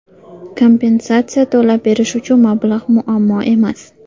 Kompensatsiya to‘lab berish uchun mablag‘ muammo emas.